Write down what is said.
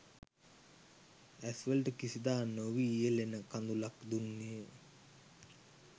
ඇස්වලට කිසිදා නොවියැළෙන කඳුළක් දුන්නේය.